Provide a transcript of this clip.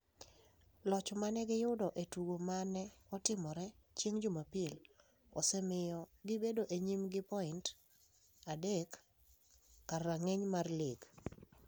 Loch ma ne giyudo e tugo ma ne otimore chieng' Jumapil osemiyo gibedo e nyim gi points adek e kar rang’iny mar lig.